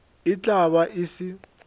e tla be e se